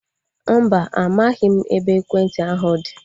Mba, amaghị m ebe ekwentị ahu dị